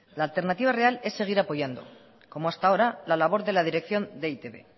la alternativa real es seguir apoyando como hasta ahora la labor de dirección de e i te be